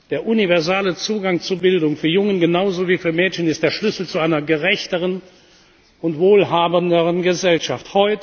Der universelle Zugang zu Bildung für Jungen genauso wie für Mädchen ist der Schlüssel zu einer gerechteren und wohlhabenderen Gesellschaft.